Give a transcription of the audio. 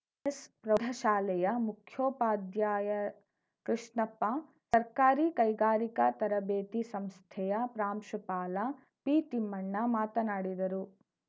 S S ಪ್ರೌಢಶಾಲೆಯ ಮುಖ್ಯೋಪಾಧ್ಯಾಯ ಕೃಷ್ಣಪ್ಪ ಸರ್ಕಾರಿ ಕೈಗಾರಿಕಾ ತರಬೇತಿ ಸಂಸ್ಥೆಯ ಪ್ರಾಂಶುಪಾಲ ಪಿತಿಮ್ಮಣ್ಣ ಮಾತನಾಡಿದರು